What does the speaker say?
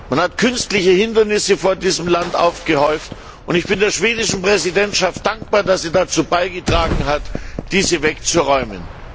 Man hat künstliche Hindernisse vor diesem Land aufgebaut, und ich bin der schwedischen Präsidentschaft dankbar, dass sie dazu beigetragen hat, diese aus dem Weg zu räumen.